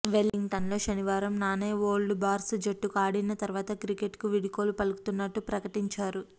వెల్లింగ్టన్లో శనివారం నానే ఓల్డ్ బార్సు జట్టుకు ఆడిన తర్వాత క్రికెట్కు వీడ్కోలు పలుకుతున్నట్టు ప్రకటించారు